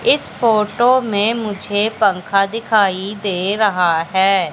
इस फोटो में मुझे पंखा दिखाई दे रहा है।